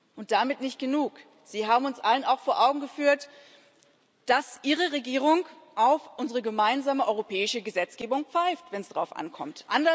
Und damit nicht genug Sie haben uns allen auch vor Augen geführt, dass Ihre Regierung auf unsere gemeinsame europäische Gesetzgebung pfeift, wenn es darauf ankommt.